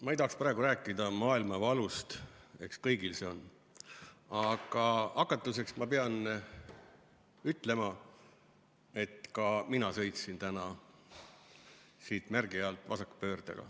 Ma ei tahaks praegu rääkida maailmavalust, eks kõigil on see, aga hakatuseks ma pean ütlema, et ka mina sõitsin täna siit märgi alt vasakpööret tehes.